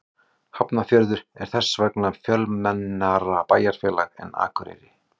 Hafnarfjörður er þess vegna fjölmennara bæjarfélag en Akureyri.